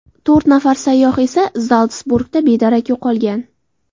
To‘rt nafar sayyoh esa Zaltsburgda bedarak yo‘qolgan.